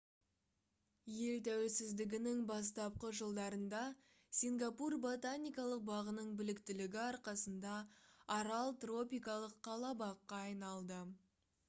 ел тәуелсіздігінің бастапқы жылдарында сингапур ботаникалық бағының біліктілігі арқасында арал тропикалық қала-баққа айналды